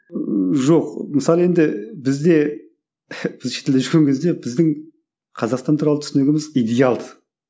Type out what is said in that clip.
жоқ мысалы енді бізде біз шетелде жүрген кезде біздің қазақстан туралы түсінігіміз идеал ды